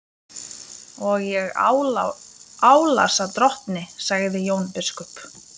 Og ég álasa drottni, sagði Jón biskup.